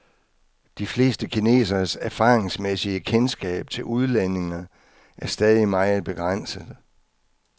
De fleste kineseres erfaringsmæssige kendskab til udlændinge er stadig meget begrænset.